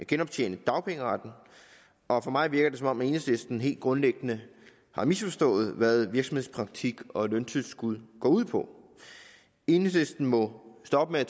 genoptjene dagpengeretten og for mig virker det som om enhedslisten helt grundlæggende har misforstået hvad virksomhedspraktik og løntilskud går ud på enhedslisten må stoppe